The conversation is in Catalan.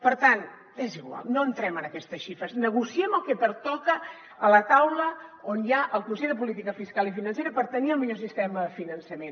per tant és igual no entrem en aquestes xifres negociem el que pertoca a la taula on hi ha el consell de política fiscal i financera per tenir el millor sistema de finançament